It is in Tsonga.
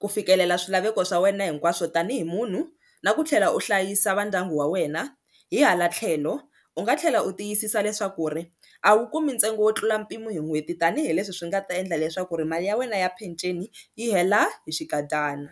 ku fikelela swilaveko swa wena hinkwaswo tanihi munhu na ku tlhela u hlayisa va ndyangu wa wena na hi hala tlhelo u nga tlhela u tiyisisa leswaku ri a wu kumi ntsengo wo tlula mpimo hi n'hweti tanihileswi swi nga ta endla leswaku ri mali ya wena ya peceni yi hela hi xinkadyana.